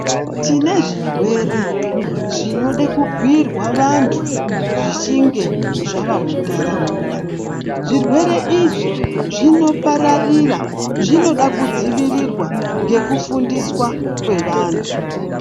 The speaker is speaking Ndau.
Tine zvirwere zvinoda kubhiirwa vantu zvichinge zvava mundaraunda zvirwere izvi zvinopararira zvinoda kudzivirirwa ngekufundiswa kwevantu.